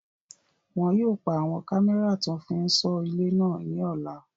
Wọn yóò pa àwọn kámẹ́rà tó máa fí n sọ ilé náà ní ọ̀la